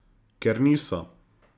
Ker niso.